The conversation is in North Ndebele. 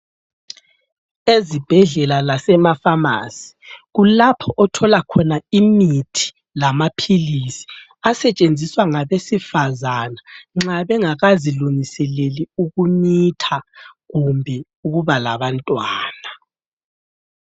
Ezibhedlela lasema famasi, kulapho othola khona imithi lamaphilisi, asetshenziswa ngabesifazana nxa bengakazilungiseleli ukumitha kumbe ukuba labantwana.